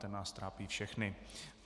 Ten nás trápí všechny.